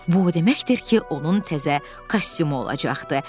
Bu o deməkdir ki, onun təzə kostyumu olacaqdı.